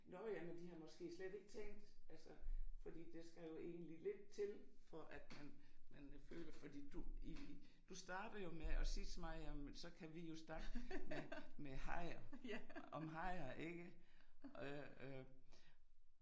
Nå ja, men de har måske slet ikke tænkt altså fordi der skal jo egentlig lidt til for at man man føler fordi du I I du starter jo med at sige til mig jamen så kan vi jo snakke med med hajer om hajer, ikke øh øh